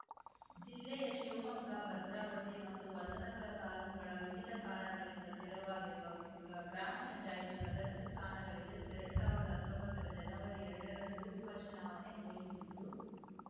ಜಿಲ್ಲೆಯ ಶಿವಮೊಗ್ಗ ಭದ್ರಾವತಿ ಮತ್ತು ಹೊಸನಗರ ತಾಲೂಕುಗಳ ವಿವಿಧ ಕಾರಣಗಳಿಂದ ತೆರವಾಗಿರುವ ಗ ಗ್ರಾಮ ಪಂಚಾಯ್ತಿ ಸದಸ್ಯ ಸ್ಥಾನಗಳಿಗೆ ಎರಡ್ ಸಾವಿರ್ದಾ ಹತ್ತೊಂಬತ್ತರ ಜನವರಿ ಎರಡರಂದು ಉಪ ಚುನಾವಣೆ ಘೋಷಿಸಿದ್ದು